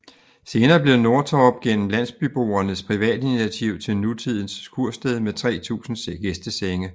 Senere blev Nordtorp gennem landsbyboernes privatinitiativ til nutidend kursted med 3000 gæstesennge